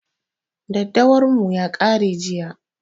Daddawar mu ya ƙare jiya